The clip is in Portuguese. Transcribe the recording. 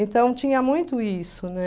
Então tinha muito isso, né?